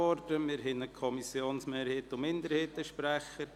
Es gibt einen Kommissionsmehrheits- und einen Kommissionsminderheitssprecher.